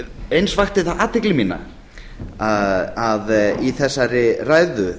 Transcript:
eins vakti það athygli mína að í þessari ræðu